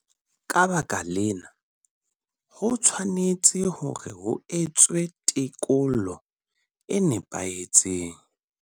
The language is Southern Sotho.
Ka baka lena, ho tshwanetse hore ho etswe tekolo e nepahetseng.